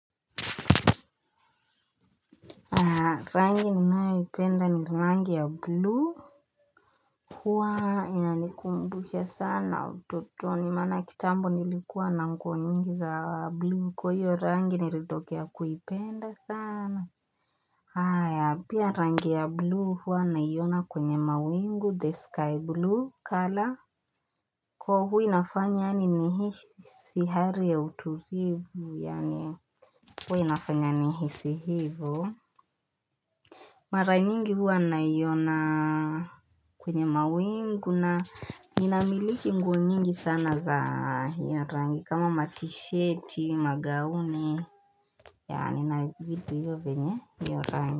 Haa rangi ni nayo ipenda ni rangi ya blue hua inalikumbusha sana ututoni maana kitambo nilikuwa na nguo nyingi za blue kwa hiyo rangi nilitokea kuipenda sana haya ya pia rangi ya blue hua nayona kwenye mawingu the sky blue color Kwa huo nafanya ani ni hisi hali ya utulivu ya nye Kwa hui nafanya ni hisi hivu Mara nyingi huwa anaiyona kwenye mawingu na ninamiliki nguo nyingi sana za hiyo rangi kama matisheti, magauni, yaani na vidu hiyo vinyo rangi.